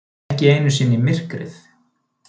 Ekki einu sinni myrkrið.